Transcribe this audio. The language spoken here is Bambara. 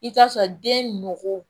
I t'a sɔrɔ den nugu